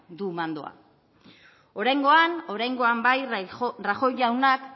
du mandoa oraingoan bai rajoy jaunak